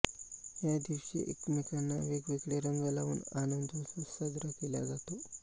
या दिवशी एकमेकांंना वेगवेगळे रंंग लावून आनंंदोत्सव साजरा केला जातो